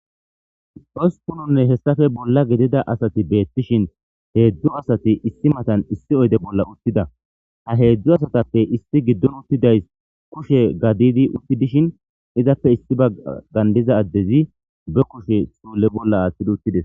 Usupunonne hessafe bolla gidida asati beettishin heedzdzu asati issi matan issi oyde bolla uttida ha heedzdzu asatappe issi giddon uttidays kushe gadidi utti dishin izappe issi bagandiza addezi be kushe soole bolla aaththidi uttides.